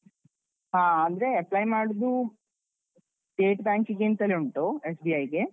ಹಾ ಅಂದ್ರೆ apply ಮಾಡುದು state bank ಗೆಂತಲೆ ಉಂಟು SBI ಗೆ.